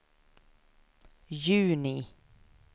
juni